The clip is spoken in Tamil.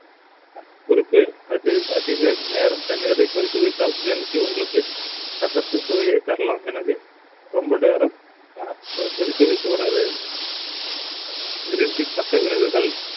குறிப்பு அதில் அதிக நேரம் தண்ணீரை கொதிக்க வைத்தால் green tea உங்களுக்கு கசப்பு சுவையை தரலாம். எனவே ரொம்ப நேரம் ஆஹ் கொதிக்க வைக்க கூடாது. green tea பக்க விளைவுகள்